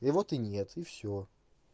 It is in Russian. и вот и нет и все